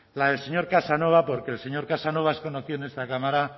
señor casanova porque el señor casanova es conocido en esta esta cámara